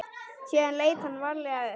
Síðan leit hann varlega upp.